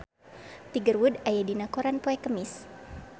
Tiger Wood aya dina koran poe Kemis